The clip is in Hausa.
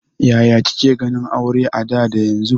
Ya ka ke ganin aure a da da yanzu?